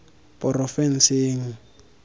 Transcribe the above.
porofenseng